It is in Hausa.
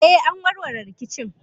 Eh, an warware rikicin.